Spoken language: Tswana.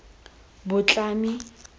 botlhami